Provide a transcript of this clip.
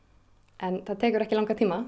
en það tekur ekki langan tíma